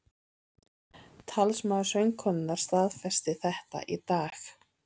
Talsmaður söngkonunnar staðfesti þetta í dag